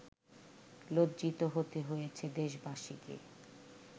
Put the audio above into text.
লজ্জিত হতে হয়েছে দেশবাসীকে